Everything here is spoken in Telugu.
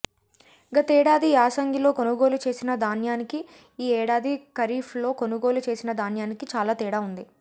గతేడాది యాసంగిలో కొనుగోలు చేసిన ధాన్యానికి ఈ ఏడాది ఖరీఫ్లో కొనుగోలు చేసిన ధాన్యానికి చాలా తేడా ఉంది